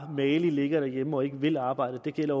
ligger mageligt derhjemme og ikke vil arbejde det gælder